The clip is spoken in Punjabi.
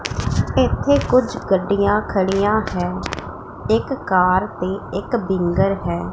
ਇਥੇ ਕੁਝ ਗੱਡੀਆਂ ਖੜੀਆਂ ਹੈ ਇੱਕ ਕਾਰ ਤੇ ਇੱਕ ਬਿੰਗਰ ਹੈ।